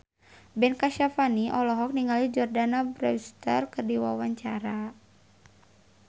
Ben Kasyafani olohok ningali Jordana Brewster keur diwawancara